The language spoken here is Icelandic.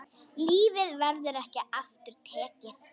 Lífið verður ekki aftur tekið.